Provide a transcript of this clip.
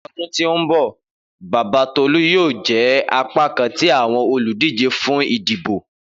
Ni ọdun to nbọ baba Tolu yoo jẹ apakan ti awọn oludije fun idibo.